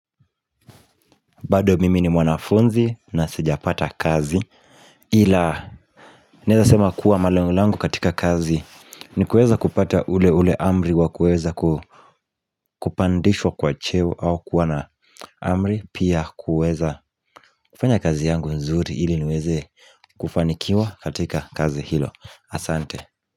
Bado mimi ni mwanafunzi na sijapata kazi Ila nezasema kuwa malengo langu katika kazi ni kueza kupata ule ule amri wa kuweza kupandishwa kwa cheo au kuwa na amri pia kuweza kufanya kazi yangu nzuri ili niweze kufanikiwa katika kazi hilo Asante.